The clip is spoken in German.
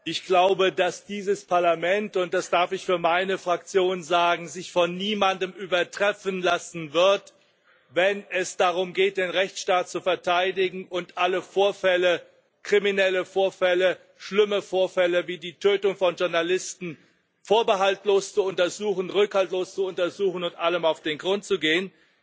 Ich glaube, dass dieses Parlament und das darf ich für meine Fraktion sagen sich von niemandem übertreffen lassen wird, wenn es darum geht, den Rechtsstaat zu verteidigen und alle kriminellen Vorfälle schlimme Vorfälle wie die Tötung von Journalisten vorbehaltslos zu untersuchen, rückhaltlos zu untersuchen und allem auf den Grund zu gehen.